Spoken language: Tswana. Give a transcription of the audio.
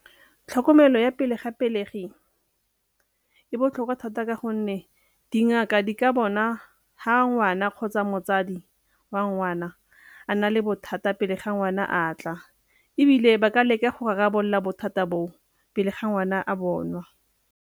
Tlhokomelo ya pele ga pelegi e botlhokwa thata ka gonne dingaka di ka bona ha ngwana kgotsa motsadi wa ngwana a nna le bothata pele ga ngwana a tla, ebile ba ka leka go rarabolola bothata bo pele ga ngwana a bonwa.